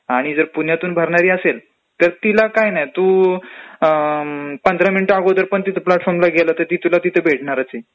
आणि जर पुण्यातून भरणारी असेल तर तिला काही नाही तू पंधरा मिनिटं अगोदर पण प्लॅटफॉर्मला गेलं तरी ती तर भेटणारचं आहे .